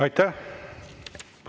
Aitäh!